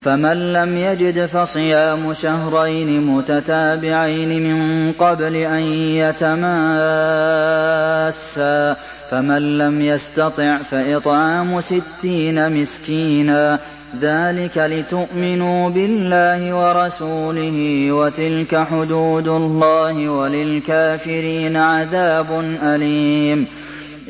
فَمَن لَّمْ يَجِدْ فَصِيَامُ شَهْرَيْنِ مُتَتَابِعَيْنِ مِن قَبْلِ أَن يَتَمَاسَّا ۖ فَمَن لَّمْ يَسْتَطِعْ فَإِطْعَامُ سِتِّينَ مِسْكِينًا ۚ ذَٰلِكَ لِتُؤْمِنُوا بِاللَّهِ وَرَسُولِهِ ۚ وَتِلْكَ حُدُودُ اللَّهِ ۗ وَلِلْكَافِرِينَ عَذَابٌ أَلِيمٌ